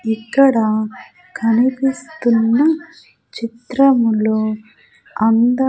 ఇక్కడ కనిపిస్తున్న చిత్రంలో అంద --